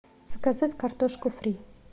заказать картошку фри